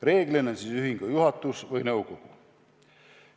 Reeglina on see ühingu juhatus või nõukogu.